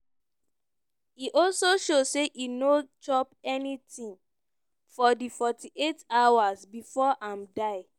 e also show say e no chop anytin for di 48 hours bifor im die.